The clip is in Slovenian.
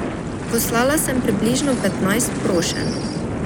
Poslala sem približno petnajst prošenj.